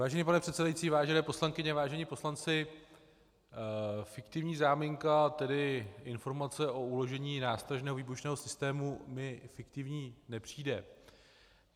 Vážený pane předsedající, vážené poslankyně, vážení poslanci, fiktivní záminka, tedy informace o uložení nástražného výbušného systému, mi fiktivní nepřijde.